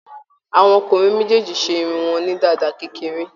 Àwọn ọkùnrin méjèèjì ṣe irun wọn ní dàda kékeré.